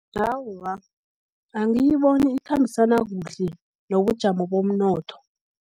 Awa, angiyiboni ikhambisana kuhle, nobujamo bomnotho.